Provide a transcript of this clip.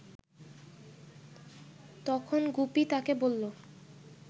তখন গুপি তাকে বলল